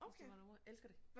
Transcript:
Hvis det var derovre elsker det